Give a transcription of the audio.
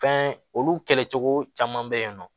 Fɛn olu kɛlɛ cogo caman be yen nɔ